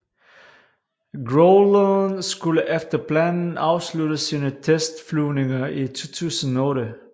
Growleren skulle efter planen afslutte sine testflyvninger i 2008